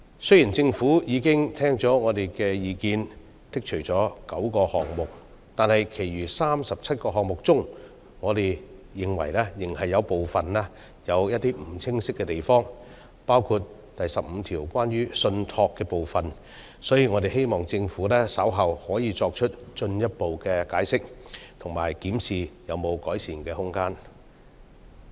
雖然政府已經聽取我們的意見，剔除了9項罪類，但在其餘37項罪類，我們認為仍有不清晰的地方，包括第15項關於"信託"的部分，我們希望政府稍後可作進一步解釋，以及檢視是否有改善的空間。